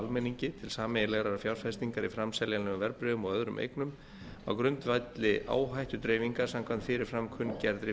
almenningi til sameiginlegrar fjárfestingar í framseljanlegum verðbréfum og öðrum eignum á grundvelli áhættudreifingar samkvæmt fyrir fram kunngerðri